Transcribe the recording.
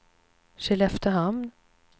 Skelleftehamn